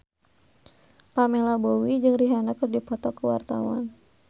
Pamela Bowie jeung Rihanna keur dipoto ku wartawan